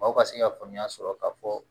Mɔgɔw ka se ka faamuya sɔrɔ k'a fɔ